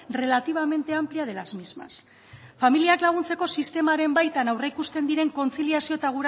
relativamente amplia de las mismas familiak laguntzeko sistemaren baitan aurreikusten diren kontziliazio eta